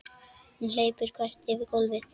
Hún hleypur þvert yfir gólfið.